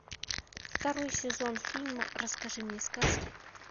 второй сезон фильма расскажи мне сказку